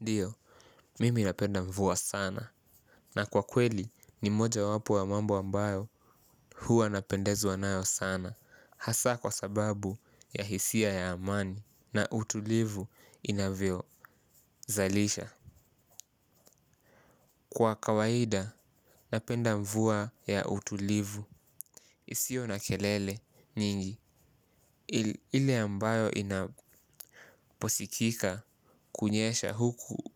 Ndio, mimi napenda mvua sana. Na kwa kweli, ni moja wapo ya mambo ambayo huwa napendezwa nayo sana. Hasa kwa sababu ya hisia ya amani na utulivu inavyo zalisha. Kwa kawaida, napenda mvuwa ya utulivu. Isiyo na kelele nyingi. Ile ambayo inaposikika kunyesha huku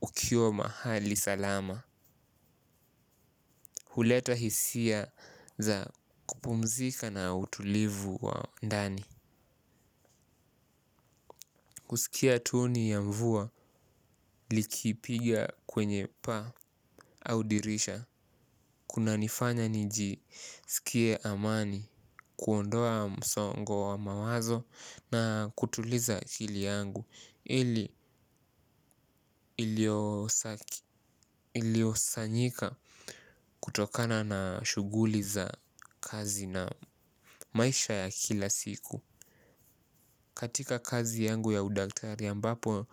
ukiwa mahali salama. Huleta hisia za kupumzika na utulivu wa ndani. Kusikia tuni ya mvua likipiga kwenye paa au dirisha kuna nifanya niji sikie amani kuondoa msongo wa mawazo na kutuliza akili yangu ili iliosanyika kutokana na shughuli za kazi na maisha ya kila siku. Katika kazi yangu ya udaktari ambapo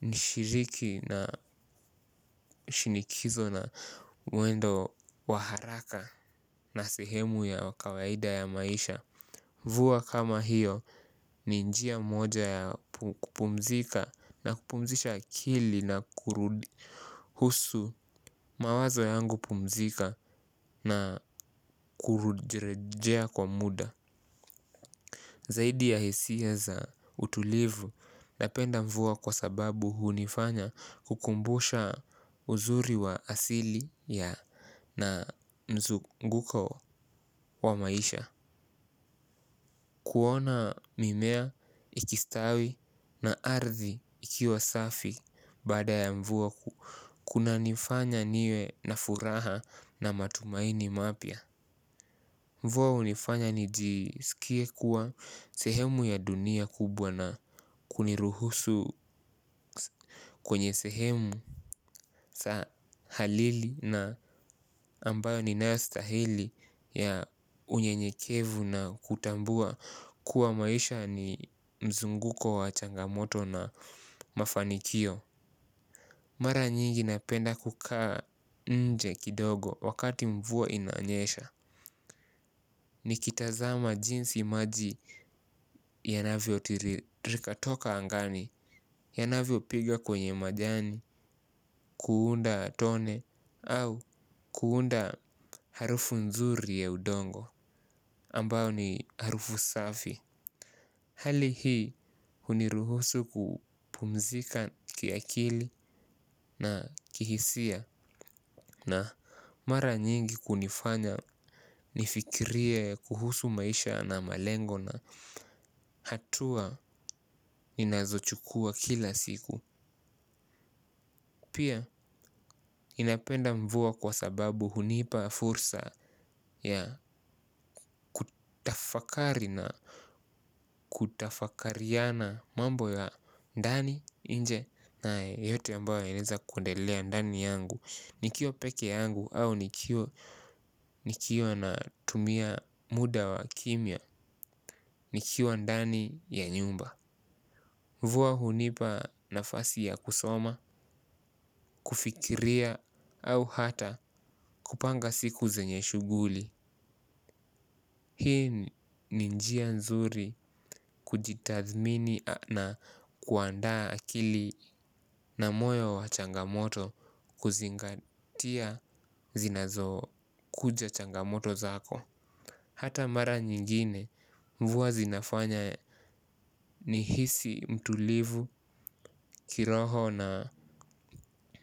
ni shiriki na shinikizo na mwendo wa haraka na sehemu ya kawaida ya maisha. Mvua kama hiyo ni njia moja ya kupumzika na kupumzisha akili na kurudi. Husu mawazo yangu pumzika na kurejea kwa muda. Zaidi ya hisia za utulivu. Napenda mvua kwa sababu hunifanya kukumbusha uzuri wa asili ya na mzunguko wa maisha. Kuona mimea ikistawi na ardhi ikiwa safi baada ya mvua kuna nifanya niwe na furaha na matumaini mapya. Mvua hunifanya nijisikie kuwa sehemu ya dunia kubwa na kuniruhusu kwenye sehemu sa halili na ambayo ni naastahili ya unye nyekevu na kutambua kuwa maisha ni mzunguko wa changamoto na mafanikio. Mara nyingi napenda kukaa nje kidogo wakati mvua inanyesha nikitazama jinsi maji yanavyo tiririka nikatoka angani. Yanavyo piga kwenye majani kuunda tone au kuunda harufu nzuri ya udongo ambao ni harufu safi hali hii huniruhusu kupumzika kiakili na kihisia. Na mara nyingi kunifanya nifikirie kuhusu maisha na malengo hatua ninazochukua kila siku pia inapenda mvua kwa sababu hunipa fursa ya kutafakari na kutafakariana mambo ya ndani inje na yote ambayo inaweza kundelea ndani yangu nikiwa peke yangu au nikiwa natumia muda wa kimws nikiwa ndani ya nyumba. Mvua hunipa nafasi ya kusoma, kufikiria au hata kupanga siku zenye shughuli. Hii ni njia nzuri kujitathmini na kuandaa akili na moyo wa changamoto kuzingatia zinazo kuja changamoto zako. Hata mara nyingine mvua zinafanya nihisi mtulivu kiroho na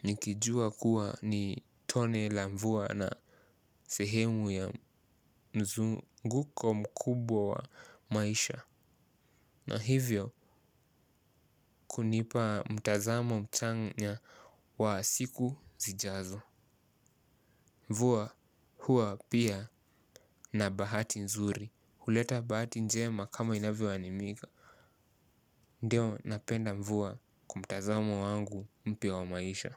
nikijua kuwa ni tone la mvuwa na sehemu ya mzunguko mkubwa wa maisha. Na hivyo kunipa mtazamo mchanga wa siku zijazo. Mvuwa huwa pia na bahati nzuri. Huleta bahati njema kama inavyo aminika. Ndeo napenda mvua kwa mtazamo wangu mpya wa maisha.